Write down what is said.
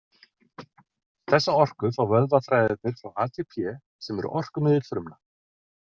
Þessa orku fá vöðvaþræðirnir frá ATP, sem er orkumiðill frumna.